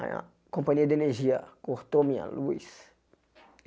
A companhia de energia cortou minha luz.